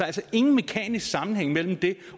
altså ingen mekanisk sammenhæng mellem det